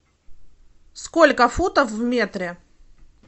сколько футов в метре